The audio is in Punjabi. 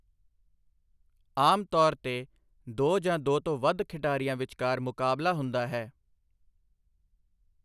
ਆਮ ਤੌਰ ਤੇ ਦੋ ਜਾਂ ਦੋ ਤੋਂ ਵੱਧ ਖਿਡਾਰੀਆਂ ਵਿਚਕਾਰ ਮੁਕਾਬਲਾ ਹੁੰਦਾ ਹੈ।